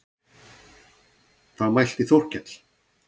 Þá mælti Þórkell